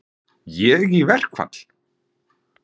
Ég í verkfall?